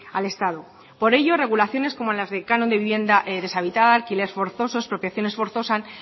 al estado por ello regulaciones como las del canon de vivienda deshabitada alquiler forzoso expropiaciones forzosas